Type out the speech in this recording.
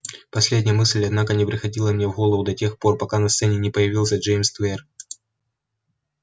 последняя мысль однако не приходила мне в голову до тех пор пока на сцене не появился джеймс твер